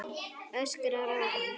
Öskrar á hann.